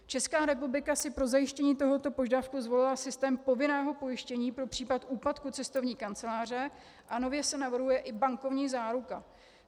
Česká republika si pro zajištění tohoto požadavku zvolila systém povinného pojištění pro případ úpadku cestovní kanceláře a nově se navrhuje i bankovní záruka.